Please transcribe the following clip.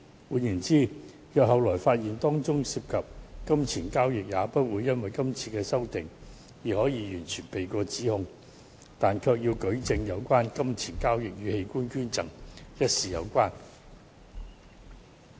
換言之，若後來發現當中涉及金錢交易，也不會因今次修訂而可以完全逃避指控，但卻要舉證有關金錢交易與器官捐贈一事有關。